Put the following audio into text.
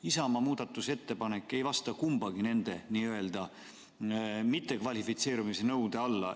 Isamaa muudatusettepanek ei käi kummagi mittekvalifitseerumisnõude alla.